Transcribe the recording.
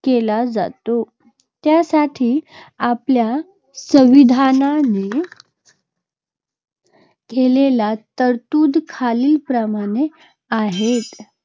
केला जातो. त्यासाठी आपल्या संविधानाने केलेल्या तरतुदी खालीलप्रमाणे आहेत.